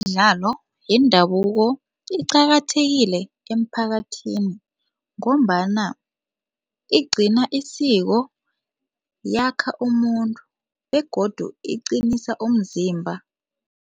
imidlalo yendabuko iqakathekile emiphakathini ngombana igcina isiko yakha umuntu begodu iqinisa umzimba